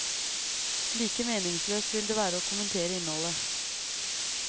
Like meningsløst vil det være å kommentere innholdet.